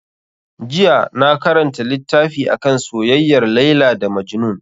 Jiya na karanta littafi akan soyayyar Laila da Majnun.